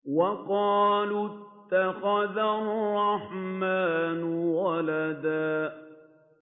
وَقَالُوا اتَّخَذَ الرَّحْمَٰنُ وَلَدًا